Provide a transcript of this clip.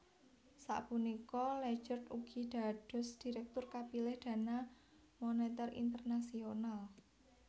Sapunika Lagarde ugi dados dhirektur kapilih Dana Moneter Internasional